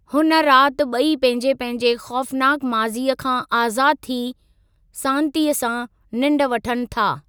हुन राति ॿई पंहिंजे पंहिंजे ख़ौफ़नाकु माज़ीअ खां आज़ादु थी सांतीअ सां निंड वठनि था।